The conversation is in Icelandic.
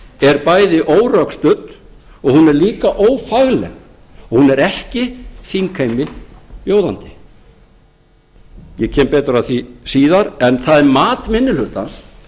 er bæði órökstudd og hún er líka ófagleg hún er ekki þingheimi bjóðandi ég kem betur að því síðar en það er mat minni hlutans